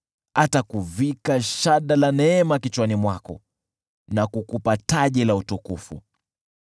Atakuvika shada la neema kichwani mwako na kukupa taji ya utukufu.”